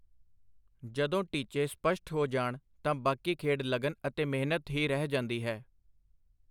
ਜਦੋਂ ਟੀਚੇ ਸਪਸ਼ਟ ਹੋ ਜਾਣ ਤਾਂ ਬਾਕੀ ਖੇਡ ਲਗਨ ਅਤੇ ਮਿਹਨਤ ਹੀ ਰਹਿ ਜਾਂਦੀ ਹੈ.